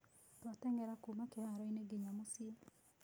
Twateng'era kũũma kĩhaaro-inĩ nginya mũciĩ.